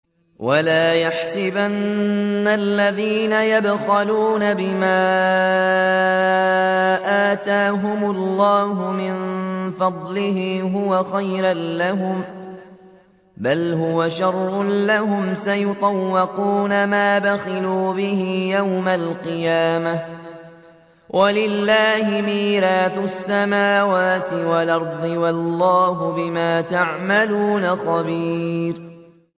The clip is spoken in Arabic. وَلَا يَحْسَبَنَّ الَّذِينَ يَبْخَلُونَ بِمَا آتَاهُمُ اللَّهُ مِن فَضْلِهِ هُوَ خَيْرًا لَّهُم ۖ بَلْ هُوَ شَرٌّ لَّهُمْ ۖ سَيُطَوَّقُونَ مَا بَخِلُوا بِهِ يَوْمَ الْقِيَامَةِ ۗ وَلِلَّهِ مِيرَاثُ السَّمَاوَاتِ وَالْأَرْضِ ۗ وَاللَّهُ بِمَا تَعْمَلُونَ خَبِيرٌ